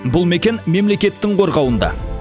бұл мекен мемлекеттің қорғауында